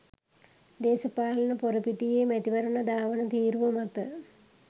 දේශපාලන ‍පොරපිටියේ මැතිවරණ ධාවන තීරුව මත